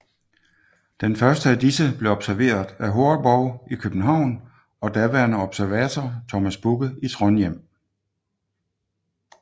Den første af disse blev observeret af Horrebow i København og daværende observator Thomas Bugge i Trondhjem